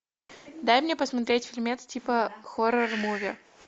дай мне посмотреть фильмец типа хоррор муви